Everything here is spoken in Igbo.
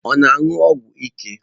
Ọ na-aṅụ ọgwụ ike?